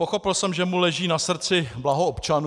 Pochopil jsem, že mu leží na srdci blaho občanů.